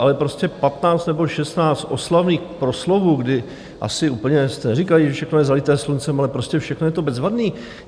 Ale prostě 15 nebo 16 oslavných proslovů, kdy asi úplně jste neříkali, že všechno je zalité sluncem, ale prostě všechno je to bezvadné.